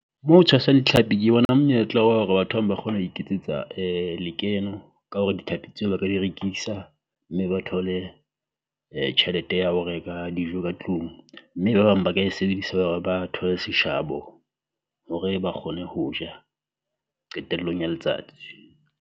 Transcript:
Moo ho tshwasang ditlhapi ke bona monyetla wa hore batho ba bang ba kgona ho iketsetsa lekeno ka hore dithapi tseo ba ka di rekisa, mme ba thole [um tjhelete ya ho reka dijo ka tlung. Mme ba bang ba ka e sebedisa ba re ba thole seshabo hore ba kgone ho ja qetellong ya letsatsi.